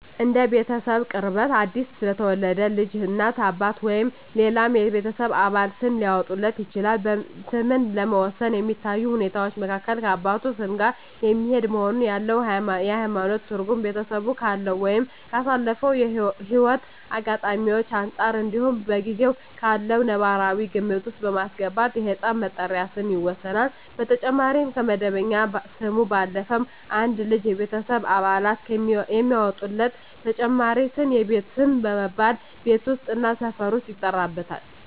እንደ ቤተሰቡ ቅርበት አዲስ ለተወለደ ልጅ እናት፣ አባት ወይም ሌላው የቤተሰብ አባል ስም ሊያወጣለት ይችላል። ስምን ለመወሰን ከሚታዩ ሁኔታወች መካከል ከአባቱ ስም ጋር የሚሄድ መሆኑን፣ ያለው የሀይማኖት ትርጉም፣ ቤተሰቡ ካለው ወይም ካሳለፈው ህይወት አጋጣሚወች አንፃር እንዲሁም በጊዜው ካለው ነባራዊ ግምት ውስጥ በማስገባት የህፃን መጠሪያ ስም ይወሰናል። በተጨማሪም ከመደበኛ ስሙ ባለፈም አንድ ልጅ የቤተሰብ አባላት የሚያወጡለት ተጨማሪ ስም የቤት ስም በመባል ቤት ውስጥ እና ሰፈር ውስጥ ይጠራበታል።